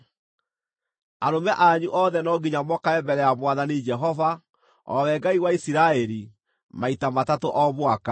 Arũme anyu othe no nginya mokage mbere ya Mwathani Jehova, o we Ngai wa Isiraeli, maita matatũ o mwaka.